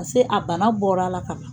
Paseke a bana bɔra a la kuwa.